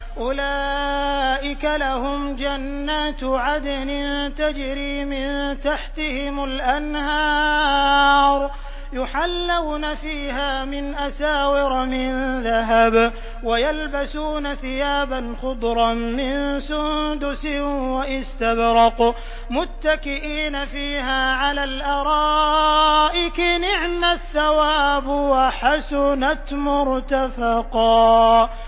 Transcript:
أُولَٰئِكَ لَهُمْ جَنَّاتُ عَدْنٍ تَجْرِي مِن تَحْتِهِمُ الْأَنْهَارُ يُحَلَّوْنَ فِيهَا مِنْ أَسَاوِرَ مِن ذَهَبٍ وَيَلْبَسُونَ ثِيَابًا خُضْرًا مِّن سُندُسٍ وَإِسْتَبْرَقٍ مُّتَّكِئِينَ فِيهَا عَلَى الْأَرَائِكِ ۚ نِعْمَ الثَّوَابُ وَحَسُنَتْ مُرْتَفَقًا